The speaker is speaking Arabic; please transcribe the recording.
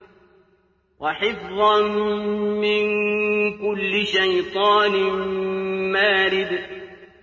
وَحِفْظًا مِّن كُلِّ شَيْطَانٍ مَّارِدٍ